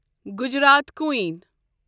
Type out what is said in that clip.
Gujarat کوٗیٖن